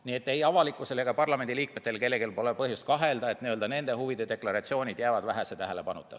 Nii et ei avalikkusel ega parlamendi liikmetel pole põhjust kahelda, et nende huvide deklaratsioonid jäävad tähelepanuta.